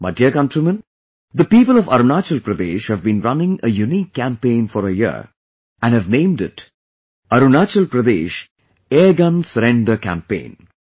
My dear countrymen, the people of Arunachal Pradesh have been running a unique campaign for a year and have named it "Arunachal Pradesh Airgun Surrender Campaign"